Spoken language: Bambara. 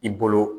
I bolo